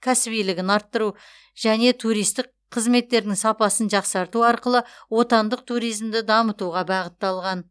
кәсібилігін арттыру және туристік қызметтердің сапасын жақсарту арқылы отандық туризмді дамытуға бағытталған